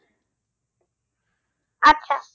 আচ্ছা